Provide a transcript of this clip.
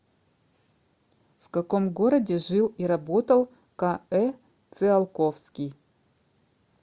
в каком городе жил и работал к э циолковский